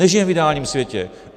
Nežijeme v ideálním světě.